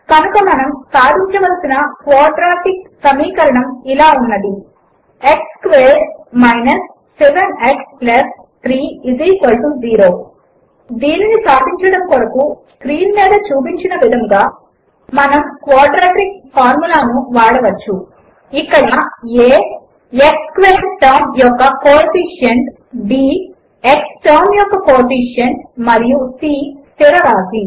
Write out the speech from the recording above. కనుక మనము సాధించవలసిన క్వాడ్రాటిక్ సమీకరణము ఇలా ఉన్నది x స్క్వేర్డ్ 7 x 3 0 దీనిని సాధించడము కొరకు స్క్రీన్ మీద చూపిన విధముగా మనము క్వాడ్రాటిక్ ఫార్ములాను మనము వాడవచ్చు 0459 ఇక్కడ a x స్క్వేర్డ్ టర్మ్ యొక్క కోఎఫిషియెంట్ b x టర్మ్ యొక్క కోఎఫిషియెంట్ మరియు c స్థిర రాసి